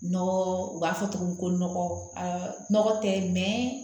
Nɔgɔ u b'a fɔ tuguni ko nɔgɔ tɛ mɛ